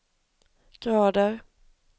grader